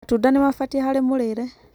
Matunda nĩmabatie harĩ mũrĩre